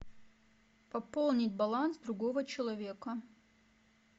пополнить баланс другого человека